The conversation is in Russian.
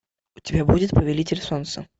у тебя будет повелитель солнца